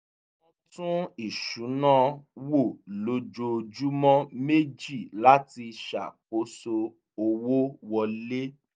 wọ́n tún ìṣúná wò lójoojúmọ́ méjì láti ṣàkóso owó wọlé